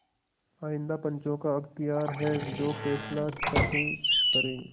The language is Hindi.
आइंदा पंचों का अख्तियार है जो फैसला चाहें करें